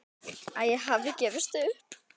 Að ég hafi gefist upp.